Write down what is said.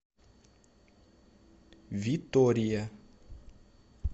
витория